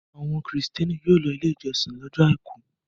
Àwọn Kìrìtẹ́ẹ́nì yóò lọ Ilé-ìjọsìn lọ́jọ́ àìkú.